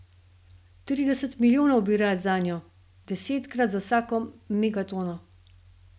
Trideset milijonov bi rad zanjo, deset za vsako megatono.